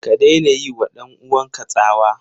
Ka daina yiwa ɗan uwanka tsawa!